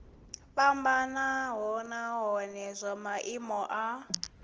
fhambanaho nahone zwa maimo a